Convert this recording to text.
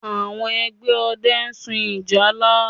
Àwọn ẹgbẹ́ ọdẹ ń sun ìjálá